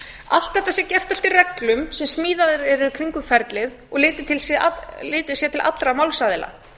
allt þetta sé gert eftir reglum sem smíðaðar eru kringum ferlið og litið sé til allra málsaðila